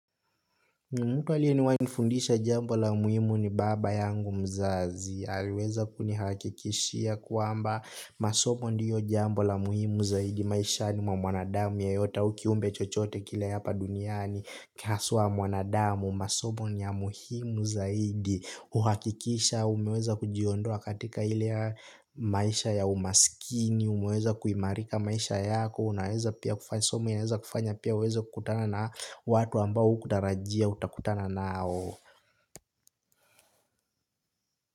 Mtu aliyewahi nifundisha jambo la muhimu ni baba yangu mzazi, aliweza kunihakikishia kwamba masomo ndio jambo la muhimu zaidi maishani mwa mwanadamu yeyote au kiumbe chochote kile hapa duniani haswa mwanadamu, masomo ni ya muhimu zaidi. Huhakikisha umeweza kujiondoa katika ile maisha ya umasikini, umeweza kuimarika maisha yako. Somo inawezakufanya pia uweze kukutana na watu ambao hukutarajia utakutana nao.